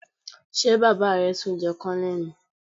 Ṣé baba rẹ tun jẹ Kònónélì?